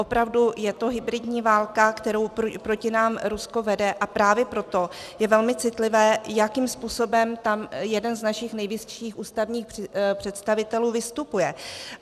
Opravdu je to hybridní válka, kterou proti nám Rusko vede, a právě proto je velmi citlivé, jakým způsobem tam jeden z našich nejvyšších ústavních představitelů vystupuje.